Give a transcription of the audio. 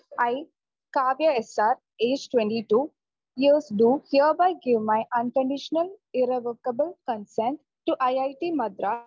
E Kavya S are age twenty two years do hereby give my unconditional irrevocable consent to IIT Madras